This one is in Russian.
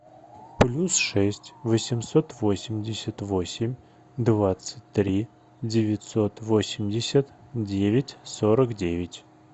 плюс шесть восемьсот восемьдесят восемь двадцать три девятьсот восемьдесят девять сорок девять